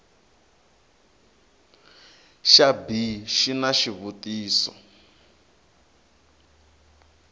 xa b xi na xivutiso